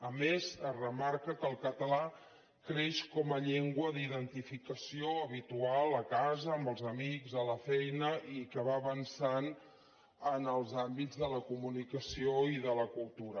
a més es remarca que el català creix com a llengua d’identificació habitual a casa amb els amics a la feina i que va avançant en els àmbits de la comunicació i de la cultura